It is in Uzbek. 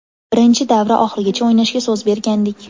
Birinchi davra oxirigacha o‘ynashga so‘z bergandik.